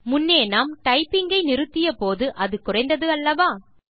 முன்னே நாம் டைப்பிங் ஐ நிறுத்தியபோது அது குறைந்தது அல்லவா